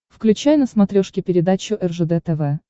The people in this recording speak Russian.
включай на смотрешке передачу ржд тв